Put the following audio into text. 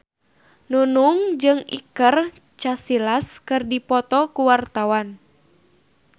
Nunung jeung Iker Casillas keur dipoto ku wartawan